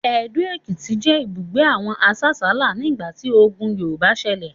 Ado-Ekiti jẹ ibugbe awon asasala nigbati ogùn Yorùbá ń ṣẹlẹ